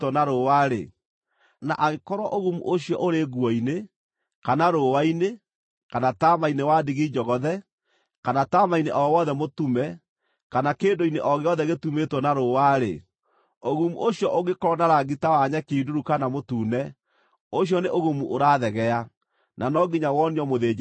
na angĩkorwo ũgumu ũcio ũrĩ nguo-inĩ, kana rũũa-inĩ, kana taama-inĩ wa ndigi njogothe, kana taama-inĩ o wothe mũtume, kana kĩndũ-inĩ o gĩothe gĩtumĩtwo na rũũa-rĩ, ũgumu ũcio ũngĩkorwo na rangi ta wa nyeki nduru kana mũtune, ũcio nĩ ũgumu ũrathegea, na no nginya wonio mũthĩnjĩri-Ngai.